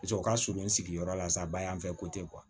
Paseke u ka surun sigiyɔrɔ la sa ba y'an fɛ ko tɛ